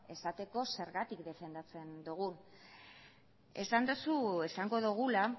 esateko zergatik defendatzen dugun esan duzu esango dugula